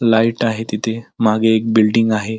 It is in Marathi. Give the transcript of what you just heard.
लाइट आहे तिथे मागे एक बिल्डिंग दिसत आहे.